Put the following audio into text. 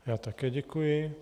Já také děkuji.